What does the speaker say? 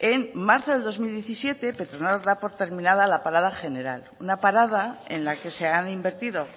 en marzo del dos mil diecisiete petronor da por terminada la parada general una parada en la que se han invertido